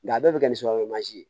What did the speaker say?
Nka a bɛɛ bɛ kɛ ni sukaro mansi ye